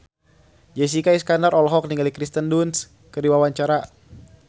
Jessica Iskandar olohok ningali Kirsten Dunst keur diwawancara